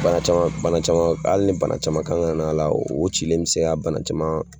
Bana caman bana caman ali ni bana caman kan ka n'a la o cilen be se ka bana caman